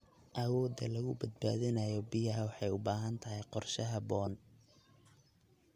Awoodda lagu badbaadinayo biyaha waxay u baahan tahay qorshe habboon.